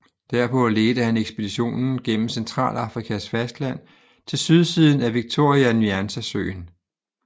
Derpå ledte han ekspeditionen gennem Centralafrikas fastland til sydsiden af Victoria Nyanza Søen